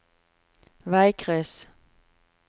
veikryss